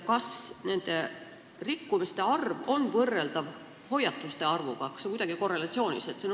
Kas nende rikkumiste arv on võrreldav hoiatuste arvuga – kas see on kuidagi korrelatsioonis?